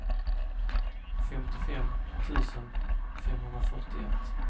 femtiofem tusen femhundrafyrtioett